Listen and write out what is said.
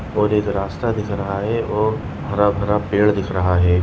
और एक रास्ता दिख रहा है और हरा भरा पेड़ दिख रहा है।